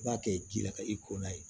I b'a kɛ ji la ka i kɔnna ye